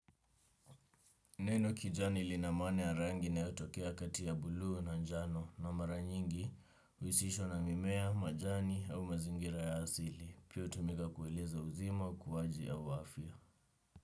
Neno kijani lina maana ya rangi inayotokea kati ya buluu na njano na mara nyingi huisishwa na mimea, majani au mazingira ya asili. Pia hutumiga kueleza uzima ukuwaji au afya.